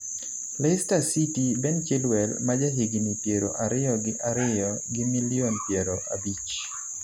Leicester City Ben Chilwell, ma jahigni piero ariyo gi ariyo gi milion piero abich